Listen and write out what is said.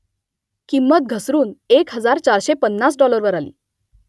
किंमत घसरून एक हजार चारशे पन्नास डॉलरवर आली